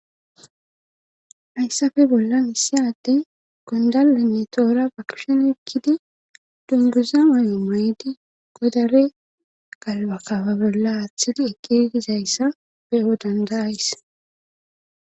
Hayssafe bolla miseyade gondalenne toora bakishon ekkidi dunbuza mayo maydi godare galbakaba bolla aaththidi ekidi dizayssa beyo dandayays.